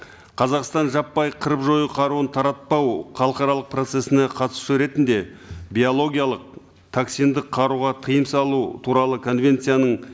қазақстан жаппай қырып жою қаруын таратпау халықаралық процессіне қатысушы ретінде биологиялық токсиндік қаруға тыйым салу туралы конвенцияның